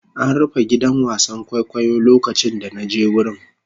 An rufe gidan wasan kwaikwayo lokacin da na je wurin.